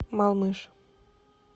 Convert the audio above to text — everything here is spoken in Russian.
малмыж